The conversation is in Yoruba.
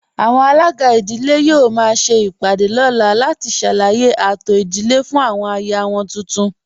Àwọn alàgbà ìdílé yóò máa ṣe ìpàdé lọ́la láti ṣàlàyé ààtò ìdílé fún àwọn aya wọn tuntun